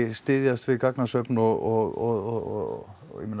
styðjast við gagnasöfn og